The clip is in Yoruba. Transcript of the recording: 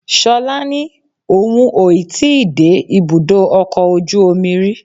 Ṣọlá ní òun ò ì tí ì dé ibùdó ọkọ̀ ojú omi rí